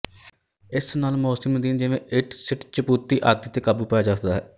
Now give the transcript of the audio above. ਇਸ ਨਾਲ ਮੌਸਮੀ ਨਦੀਨ ਜਿਵੇਂ ਇੱਟਸਿਟਚੁਪੱਤੀ ਆਦਿ ਤੇ ਕਾਬੂ ਪਾਇਆ ਜਾ ਸਕਦਾ ਹੈ